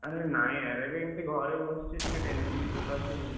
ଆରେ ନାଇଁ ଆରେ ଏବେ ଏମତି ଘରେ ବସଚି, ଟିକେ tension ସକାସୁ।